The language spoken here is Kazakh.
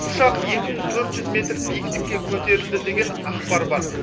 ұшақ екі мың төрт жүз метр биіктікке көтерілді деген ақпар бар